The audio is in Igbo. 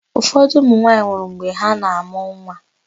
Ụfọdụ ụmụnwaanyị nwụrụ mgbe ha na-amụ nwa.